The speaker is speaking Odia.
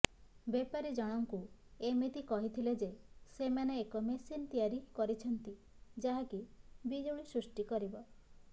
ବେପାରୀ ଜଣଙ୍କୁ ଏମିତି କହିଥିଲେ ଯେ ସେମାନେ ଏକ ମେସିନ୍ ତିଆରି କରିଛନ୍ତି ଯାହାକି ବିଜୁଳି ସୃଷ୍ଟି କରିବ